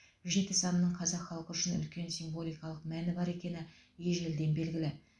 жеті санының қазақ халқы үшін үлкен символикалық мәні бар екені ежелден белгілі